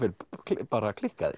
bara klikkaðir